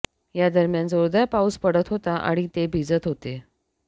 या दरम्यान जोरदार पाऊस पडत होता आणि ते भिजत होते